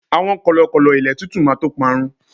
àwọn kọlọkọlọ ilé titu ma to parun